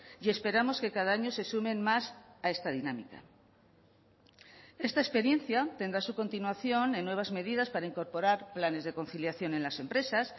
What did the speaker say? y esperamos que cada año se sumen más a esta dinámica esta experiencia tendrá su continuación en nuevas medidas para incorporar planes de conciliación en las empresas